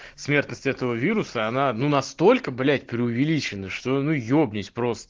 смертность этого вируса она настолько блять преувеличено что ну ебнусь просто